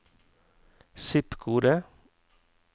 zip-kode